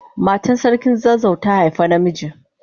Matan sarkin zazzau ta haifa na miji.